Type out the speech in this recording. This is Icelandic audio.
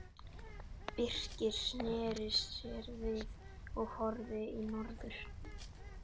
Birkir sneri sér við og horfði í norður.